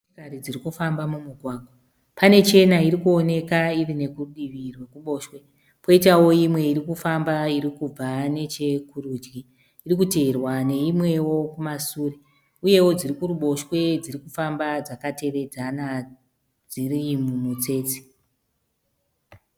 Motokari dziri kufamba mumugwagwa. Pane chena irikuoneka iri nekudivi rwekuboshwe.. Poitawo imwe irikufamba irikubva nechekurudyi. Irikuteerwa neimwewo kumasure. Uyevo dzirikuruboshwe dzirikufamba dzakatevedzana dziri mumutsetse.